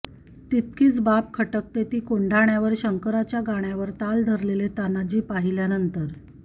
तितकीच बाब खटकते ती कोढाण्यावर शंकराच्या गाण्यावर ताल धरलेले तानाजी पाहिल्यानंतर